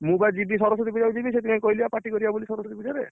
ମୁଁ ବା ଯିବି ସରସ୍ୱତୀପୂଜାକୁ ଯିବି ସେଥିପାଇଁ କହିଲି ବା party କରିଆ ସରସ୍ୱତୀ ପୂଜାରେ